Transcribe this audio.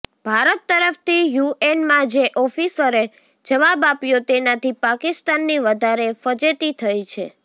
ભારત તરફથી યુએનમાં જે ઓફિસરે જવાબ આપ્યો તેનાથી પાકિસ્તાનની વધારે ફજેતી થઇ છે